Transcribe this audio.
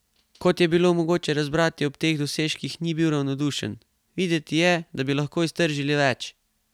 Kot je bilo mogoče razbrati, ob teh dosežkih ni bil ravnodušen: "Videti je, da bi lahko iztržili več.